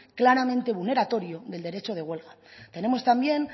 claramente vulneratorio del derecho de huelga tenemos también